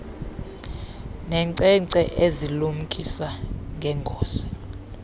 neenkcenkce ezilumkisa ngeengozi